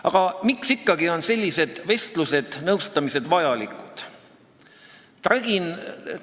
Aga miks ikkagi on sellised vestlused-nõustamised vajalikud?